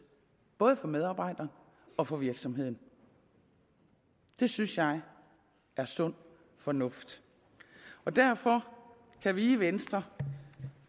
både for medarbejdere og for virksomheden det synes jeg er sund fornuft og derfor kan vi i venstre